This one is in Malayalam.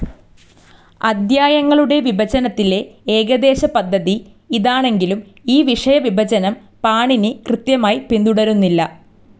അദ്ധ്യായങ്ങളുടെ വിഭജനത്തിലെ ഏകദേശപദ്ധതി ഇതാണെങ്കിലും ഈ വിഷയവിഭജനം പാണിനി കൃത്യമായി പിന്തുടരുന്നില്ല.